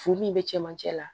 Furu min bɛ cɛmancɛ la